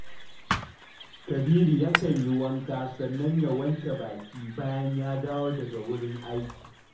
Kabiru yakan yi wanka sannan ya wanke baki bayan ya dawo daga wurin aiki